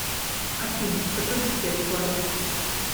афина подруби свет в кладовке